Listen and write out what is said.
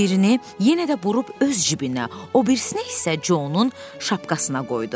Birini yenə də burub öz cibinə, o birisini isə Conun şapkasına qoydu.